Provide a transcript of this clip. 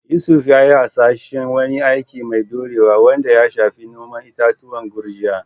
Yusuf ya yi hasashen wani aiki mai dorewa wanda ya shafi noman itatuwan gurjiya.